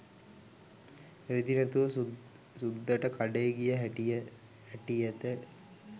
රෙදි නැතුව සුද්දට කඩේ ගිය හැටියට